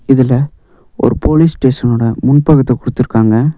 இதுல ஒரு போலீஸ் ஸ்டேஷனோட முன் பக்கத்த குடுத்துருக்காங்க.